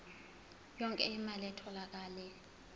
yonke imali etholakele